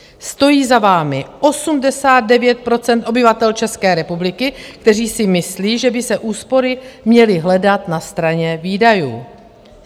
Stojí za vámi 89 % obyvatel České republiky, kteří si myslí, že by se úspory měly hledat na straně výdajů.